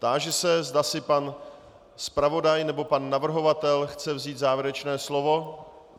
Táži se, zda si pan zpravodaj nebo pan navrhovatel chce vzít závěrečné slovo.